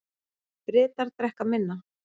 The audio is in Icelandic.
Bretar drekka minna